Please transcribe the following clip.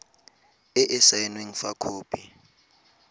e e saenweng fa khopi